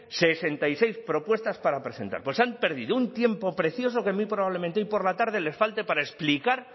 sesenta y seis propuestas para presentar pues han perdido un tiempo precioso que muy probablemente hoy por la tarde les falte para explicar